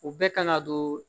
O bɛɛ kan ka don